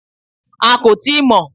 A kò tíì mọ̀